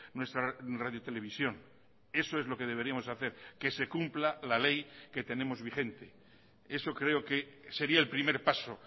nuestra radiotelevisión eso es lo que deberíamos hacer que se cumpla la ley que tenemos vigente eso creo que sería el primer paso